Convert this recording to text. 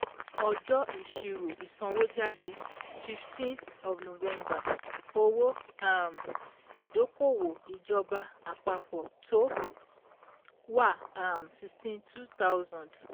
Ọjọ́ Ìṣírò ìsanwójáde eleven / fifteen Owó um Ìdókòwò Ìjọba Àpapọ̀ Tó Wà um sixty two thousand